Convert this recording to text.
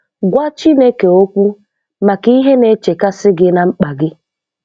Gwa Chineke okwu maka ihe na-echekasị gị na mkpa gị